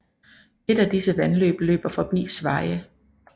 Et af disse vandløb løber forbi Sveje